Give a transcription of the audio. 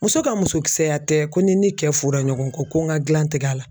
Muso ka musokisɛya tɛ ko n'i ni cɛ fɔra ɲɔgɔn kɔ ko n ka gilan tigɛ a la.